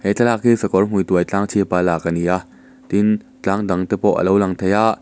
thlak hi sakawr hmui tuai tlâng chhipa lâk ani a tin tlâng dang te pawh alo lang thei a.